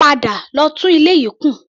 Padà lọ tún ilé yìí kùn!